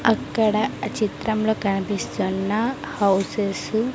అక్కడ చిత్రంలో కనిపిస్తున్న హౌసెస్ .